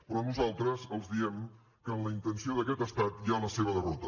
però nosaltres els diem que en la intenció d’aquest estat hi ha la seva derrota